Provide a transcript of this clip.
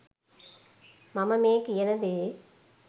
මම මේ කියන දේ